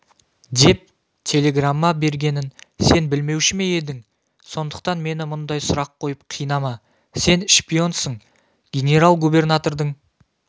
деп телеграмма бергенін сен білмеуші ме едің сондықтан мені мұндай сұрақ қойып қинама сен шпионсың генерал-губернатордың